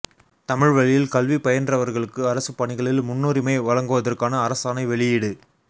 தமிழ் வழியில் கல்வி பயின்றவர்களுக்கு அரசு பணிகளில் முன்னுரிமை வழங்குவதற்கான அரசாணை வெளியீடு